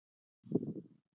En hvernig sem